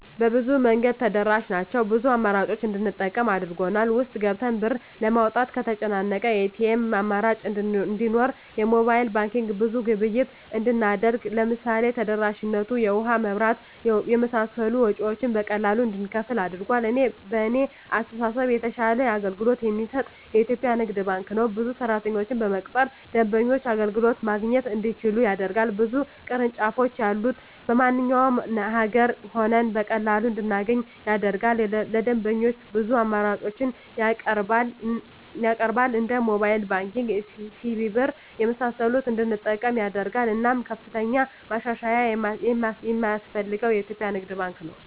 በብዙ መንገድ ተደራሽ ናቸው ብዙ አማራጮችን እንድንጠቀም አድርጎል። ውስጥ ገብተን ብር ለማውጣት ከተጨናነቀ የኤቲኤም አማራጮች እንዲኖር የሞባይል ባንኪንግ ብዙ ግብይት እንድናደርግ ለምሳሌ ተደራሽነቱ የውሀ, የመብራት የመሳሰሉ ወጭወችን በቀላሉ እንድንከፍል አድርጓል። በእኔ አስተሳሰብ የተሻለ አገልግሎት የሚሰጥ የኢትዪጵያ ንግድ ባንክ ነው። ብዙ ሰራተኞችን በመቅጠር ደንበኞች አገልግሎት ማግኘት እንዲችሉ ያደርጋል። ብዙ ቅርንጫፎች ያሉት በማንኛውም አገር ሆነን በቀላሉ እንድናገኝ ያደርጋል። ለደንበኞች ብዙ አማራጮችን ያቀርባል እንደ ሞባይል ባንኪንግ, ሲቢኢ ብር , የመሳሰሉትን እንድንጠቀም ያደርጋል። እናም ከፍተኛ ማሻሻያ የማስፈልገው የኢትዮጵያ ንግድ ባንክ ነው።